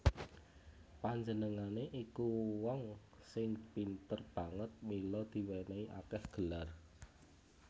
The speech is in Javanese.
Panjenengané iku wong sing pinter banget mila diwènèhi akèh gelar